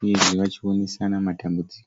uyezve vachionesana matambudziko.